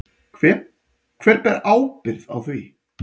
Hver ber ábyrgð á því?